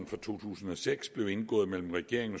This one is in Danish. fra to tusind og seks blev indgået mellem regeringen